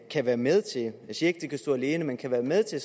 kan være med til jeg siger ikke det kan stå alene men kan være med til